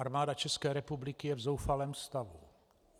Armáda České republiky je v zoufalém stavu.